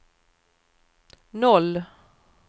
noll